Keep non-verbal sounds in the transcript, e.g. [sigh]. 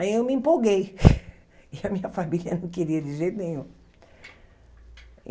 Aí eu me empolguei [laughs] e a minha família não queria de jeito nenhum.